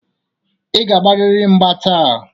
Ị ga-agbarịrị mgba taa.